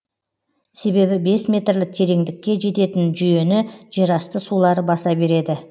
себебі бес метрлік тереңдікке жететін жүйені жерасты сулары баса береді